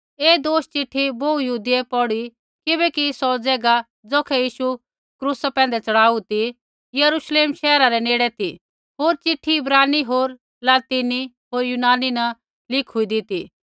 ऐ दोष चिट्ठी बोहू यहूदियै पौढु किबैकि सौ ज़ैगा ज़ौखै यीशु क्रूसा च़ढ़ाऊ ती यरूश्लेम शैहरा रै नेड़ ती होर चिट्ठी इब्रानी होर लतीनी होर यूनानी न लिखू होन्दी ती